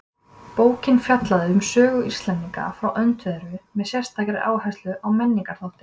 Bókin fjallaði um sögu Íslendinga frá öndverðu með sérstakri áherslu á menningarþáttinn.